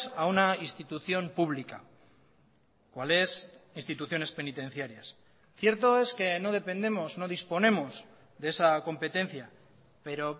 a una institución pública cuales instituciones penitenciarias cierto es que no dependemos no disponemos de esa competencia pero